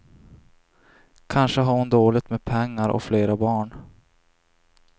Kanske har hon dåligt med pengar och flera barn.